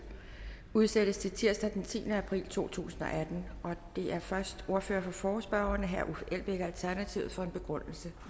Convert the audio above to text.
udsættes til tirsdag den tiende april to tusind og atten det er først ordføreren for forespørgerne herre uffe elbæk alternativet for en begrundelse